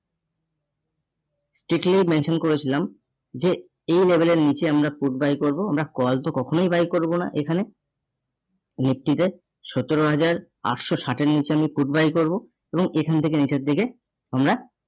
strictly mention করেছিলাম যে এই level এর নিচে আমরা food by করবো, আমরা call তো কখনোই buy করবো না এখানে nifty তে সতেরো হাজার আটশো ষাটের নিচে আমি food buy করবো. এবং এখান থেকে নিচের দিকে আমরা